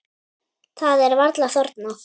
Það er varla þornað.